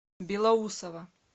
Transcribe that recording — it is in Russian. белоусово